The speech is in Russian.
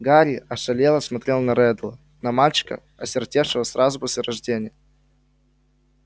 гарри ошалело смотрел на реддла на мальчика осиротевшего сразу после рождения